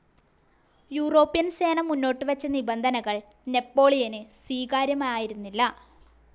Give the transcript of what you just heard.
European സേന മുന്നോട്ടുവച്ച നിബന്ധനകൾ നെപ്പോളിയന് സ്വീകാര്യമായിരുന്നില്ല.